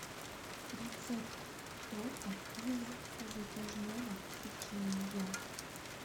рецепт торта из затяжного печенья